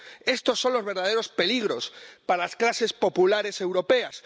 Estos son los verdaderos peligros para las clases populares europeas.